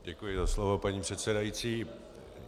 Děkuji za slovo, paní předsedající.